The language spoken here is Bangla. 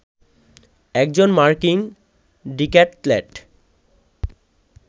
একজন মার্কিন ডিক্যাথলেট